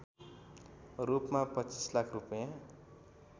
रूपमा २५ लाख रूपैयाँ